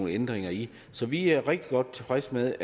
ændringer i så vi er rigtig godt tilfredse med